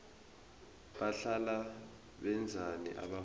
bahlala benzani abafundi